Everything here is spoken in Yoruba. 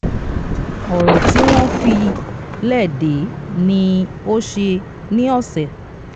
ọ̀rọ̀ tí wọ́n fi lẹ dèé ní ó ṣe ní ọ̀sẹ̀